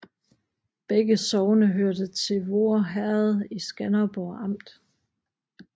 Begge sogne hørte til Voer Herred i Skanderborg Amt